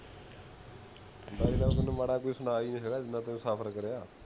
ਤੈਨੂੰ ਮਾੜਾ ਕੋਈ ਸੁਣਾ ਹੀ ਨਹੀਂ ਸਕਦਾ ਜਿੰਨਾ ਤੁਸੀਂ ਸਫ਼ਰ ਕਰੀਆ